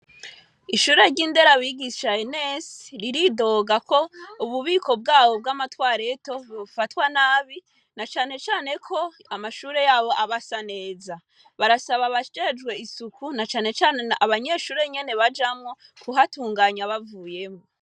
Ishure y'Inderabigisha Enesi ,riridoga KO ububiko bwabo bwamatwareto bufatwa nabi, nacane cane ko Amashure yabo aba neza, barasaba abajejwe isuku nacane cane abanyeshure nyene bajamwo kuhatunganya bavuyemwo.